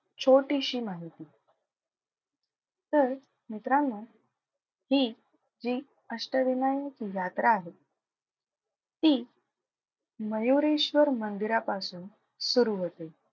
छोटीशी माहिती. तर मित्रांनो हि जी अष्टविनायक यात्रा आहे ती मयुरेश्वर मंदिरापासून सुरु होते.